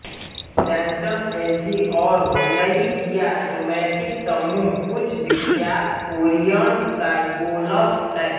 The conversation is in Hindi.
सैमसंग एलजी और हुंडई किया अटोमोटिव समूह कुछ विख्यात कोरिअन शाइबोल्स हैं